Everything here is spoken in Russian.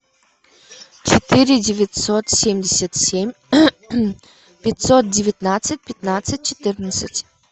четыре девятьсот семьдесят семь пятьсот девятнадцать пятнадцать четырнадцать